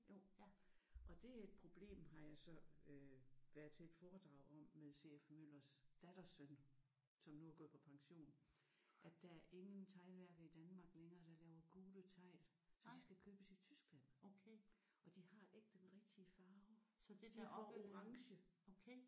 Jo og det er et problem har jeg så øh været til et foredrag om med C F Møllers dattersøn som nu er gået på pension der er ingen teglværker i Danmark længere der laver gule tegl så de skal købes i Tyskland og de har ikke den rigtige farve. De er for orange